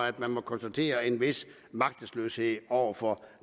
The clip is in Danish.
at man må konstatere en vis magtesløshed over for